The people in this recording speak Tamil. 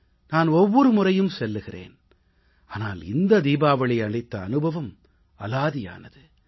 நான் ஒவ்வொரு முறையும் செல்கிறேன் ஆனால் இந்த தீபாவளி அளித்த அனுபவம் அலாதியானது